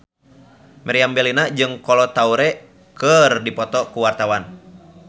Meriam Bellina jeung Kolo Taure keur dipoto ku wartawan